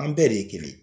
An bɛɛ de ye kelen ye